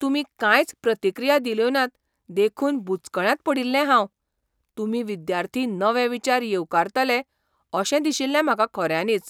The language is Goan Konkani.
तुमी कांयच प्रतिक्रिया दिल्योनात देखून बुचकळ्यांत पडील्लें हांव. तुमी विद्यार्थी नवे विचार येवकारतले अशें दिशिल्लें म्हाका खऱ्यांनीच.